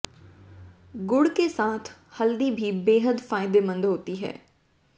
गुड़ के साथ हल्दी भी बेहद फायदेमंद होती है